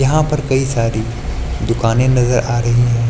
यहां पर कई सारी दुकानें नजर आ रही हैं।